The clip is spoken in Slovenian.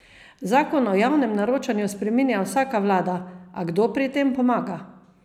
Zakon o javnem naročanju spreminja vsaka vlada, a kdo pri tem pomaga?